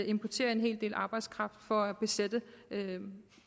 importere en hel del arbejdskraft for at besætte